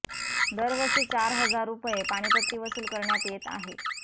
दरवर्षी चार हजार रुपये पाणीपट्टी वसूल करण्यात येत आहे